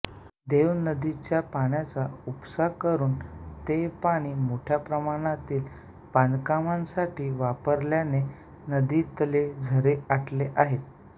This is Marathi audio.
देव नदीच्या पाण्याचा उपसा करून ते पाणी मोठ्या प्रमाणातील बांधकामांसाठी वापरल्याने नदीतले झरे आटले आहेत